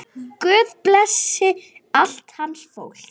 Guð blessi allt hans fólk.